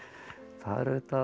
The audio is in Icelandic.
það er auðvitað